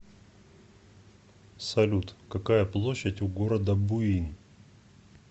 салют какая площадь у города буин